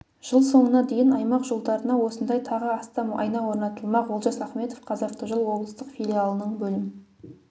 жыл соңына дейін аймақ жолдарына осындай тағы астам айна орнатылмақ олжас ахметов қазавтожол облыстық филиалының бөлім